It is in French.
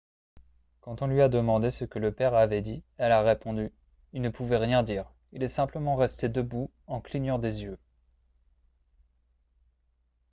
quand on lui a demandé ce que le père avait dit elle a répondu :« il ne pouvait rien dire il est simplement resté debout en clignant des yeux. »